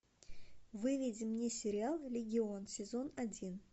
выведи мне сериал легион сезон один